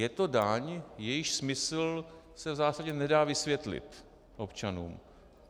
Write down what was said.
Je to daň jejíž smysl se v zásadě nedá vysvětlit občanům.